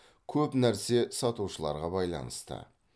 көп нәрсе сатушыларға байланысты